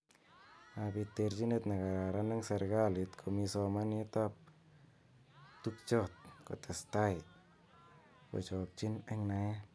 Mabit terjinet nekararan eng serekalit komi somanet ab tukjot kotesetai kochokyin eng naet.